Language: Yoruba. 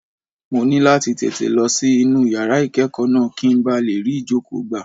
Mo ní láti tètè lọ sí inú yàrá ìkẹ́kọ̀ọ́ náà, kí n ba lè rí ìjókòó gbà.